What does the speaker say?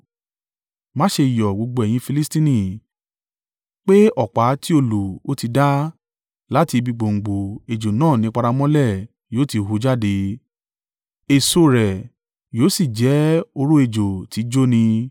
Má ṣe yọ̀, gbogbo ẹ̀yin Filistia, pé ọ̀pá tí ó lù ọ́ ti dá; láti ibi gbòǹgbò ejò náà ni paramọ́lẹ̀ yóò ti hù jáde, èso rẹ̀ yóò sì jẹ́ oró ejò tí í jóni.